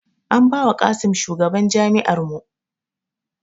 An ba wa Qassim shugaban jami; ar mu